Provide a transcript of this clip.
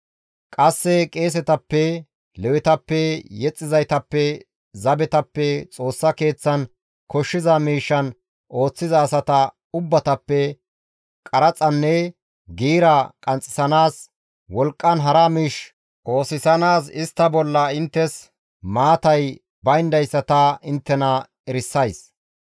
Qasse qeesetappe, Lewetappe, yexxizaytappe, zabetappe, Xoossa Keeththan koshshiza miishshan ooththiza asata ubbatappe qaraxanne giira qanxxisanaas, wolqqan hara miish oosisanaas istta bolla inttes maatay bayndayssa ta inttena erisays.